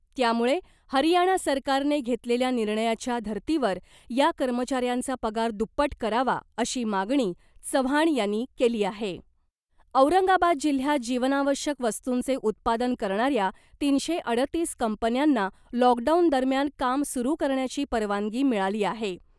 त्यामुळे हरियाणा सरकारने घेतलेल्या निर्णयाच्या धर्तीवर या कर्मचाऱ्यांचा पगार दुप्पट करावा , अशी मागणी चव्हाण यांनी केली आहे औरंगाबाद जिल्ह्यात जीवनावश्यक वस्तूंचे उत्पादन करणाऱ्या तीनशे अडतीस कंपन्यांना लॉकडाऊन दरम्यान काम सुरू करण्याची परवानगी मिळाली आहे .